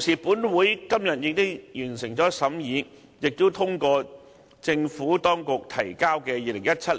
本會在今次會議上通過的《2017